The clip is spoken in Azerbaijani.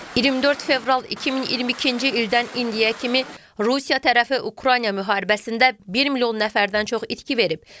24 fevral 2022-ci ildən indiyə kimi Rusiya tərəfi Ukrayna müharibəsində 1 milyon nəfərdən çox itki verib.